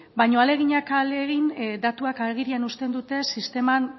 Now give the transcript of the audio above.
baina ahaleginak ahalegin datuak agerian uzten dute sisteman